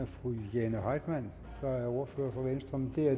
fru jane heitmann der er ordfører for venstre men det er